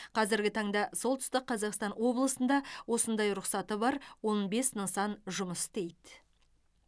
қазіргі таңда солтүстік қазақстан облысында осындай рұқсаты бар он бес нысан жұмыс істейді